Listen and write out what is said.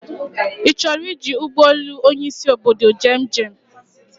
I choro iji Ugbe elu Onyi isi obodo je njem